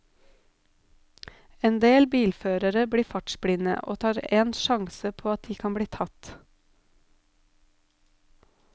Endel bilførere blir fartsblinde, og tar en sjanse på at de kan bli tatt.